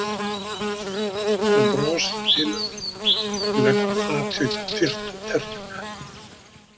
Hann brosir til hennar og leggur fatið hjá tertunni hennar.